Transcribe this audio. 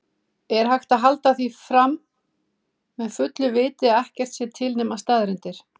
Er hægt að halda því fram með fullu viti að ekkert sé til nema staðreyndir?